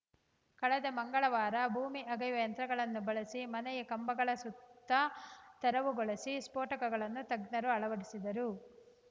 ಕಳೆದ ಮಂಗಳವಾರ ಭೂಮಿ ಅಗೆಯುವ ಯಂತ್ರಗಳನ್ನು ಬಳಸಿ ಮನೆಯ ಕಂಬಗಳ ಸುತ್ತ ತೆರವುಗೊಳಿಸಿ ಸ್ಫೋಟಕಗಳನ್ನು ತಜ್ಞರು ಅಳವಡಿಸಿದರು